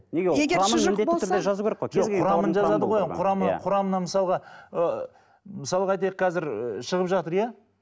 құрамын жазады ғой құрамы құрамына мысалға ы мысалға айтайық қазір ы шығып жатыр иә